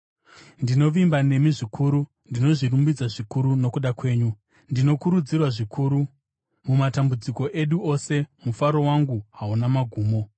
Ndinovimba nemi zvikuru; ndinozvirumbidza zvikuru nokuda kwenyu. Ndinokurudzirwa zvikuru; mumatambudziko edu ose mufaro wangu hauna magumo.